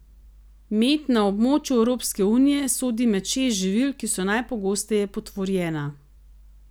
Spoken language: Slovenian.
Med na območju Evropske unije sodi med šest živil, ki so najpogosteje potvorjena.